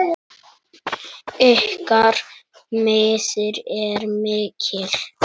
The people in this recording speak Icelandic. Ykkar missir er mikill.